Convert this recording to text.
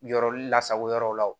Yɔrɔ lasago yɔrɔw la